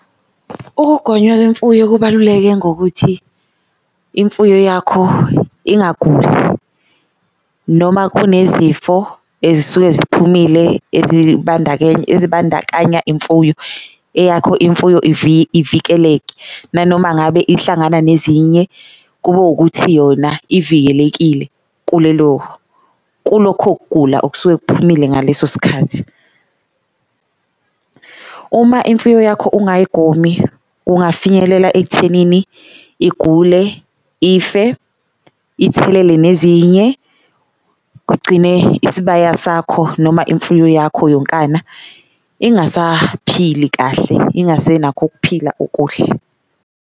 Ukugonywa kwemfuyo kubaluleke ngokuthi imfuyo yakho ingaguli noma kunezifo ezisuke ziphumile ezibandakanya imfuyo, eyakho imfuyo ivikeleke nanoma ngabe ihlangana nezinye kube wukuthi yona ivikelekile kulelo kulokho kugula okusuke kuphumile ngaleso sikhathi. Uma imfuyo yakho ungayigomi kungafinyelela ekuthenini igule, ife, ithelele nezinye kugcine isibaya sakho noma imfuyo yakho yonkana ingasaphili kahle, ingasenakho ukuphila okuhle.